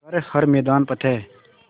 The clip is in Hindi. कर हर मैदान फ़तेह